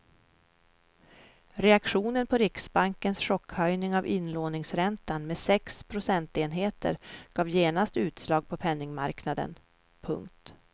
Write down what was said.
Reaktionen på riksbankens chockhöjning av inlåningsräntan med sex procentenheter gav genast utslag på penningmarknaden. punkt